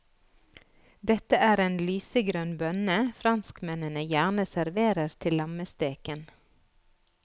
Dette er en lysegrønn bønne franskmennene gjerne serverer til lammesteken.